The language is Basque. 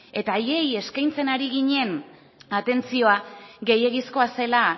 eta haiei eskaintzen ari ginen atentzioa gehiegizkoa zela